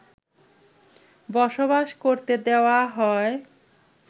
বসবাস করতে দেওয়া হয়